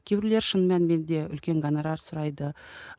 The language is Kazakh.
кейбіреулер шын мәніменде үлкен гонорар сұрайды